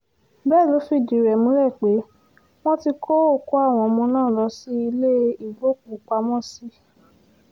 bẹ́ẹ̀ ló fìdí rẹ̀ múlẹ̀ pé wọ́n ti kó òkú àwọn ọmọ náà lọ sí ilé ìgbókùú-pamọ́-sí